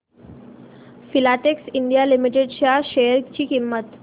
Filatex India Limited च्या share ची किंमत